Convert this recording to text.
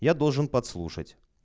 я должен подслушать